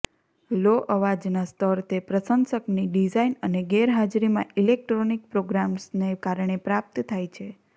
લો અવાજનો સ્તર તે પ્રશંસકની ડિઝાઇન અને ગેરહાજરીમાં ઇલેક્ટ્રોનિક પ્રોગ્રામર્સને કારણે પ્રાપ્ત થાય છે